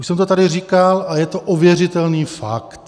Už jsem to tady říkal a je to ověřitelný fakt.